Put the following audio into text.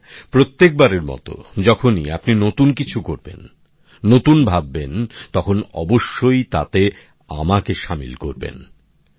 আর হ্যাঁ প্রত্যেকবারের মত যখনই আপনি নতুন কিছু করবেন নতুন ভাববেন তখন অবশ্যই তাতে আমাকে সামিল করবেন